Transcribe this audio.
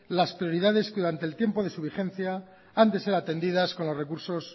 las prioridades que durante el tiempo de su vigencia han de ser atendidas con los recursos